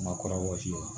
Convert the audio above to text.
Ma kɔrɔ wɔsi